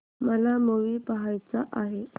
मला मूवी पहायचा आहे